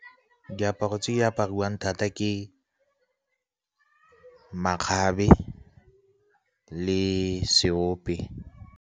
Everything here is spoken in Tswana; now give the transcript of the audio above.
Diaparo tse di apariwang thata ke makgabe le seope.